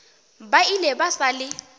ba ile ba sa le